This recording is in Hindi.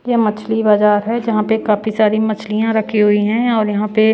ये मछली बाजार है जहां पे काफी सारी मछलियां रखी हुई हैं और यहां पे--